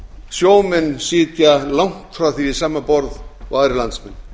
sjómenn sitja langt frá því við sama borð og aðrir landsmenn